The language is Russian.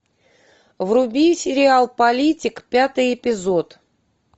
вруби сериал политик пятый эпизод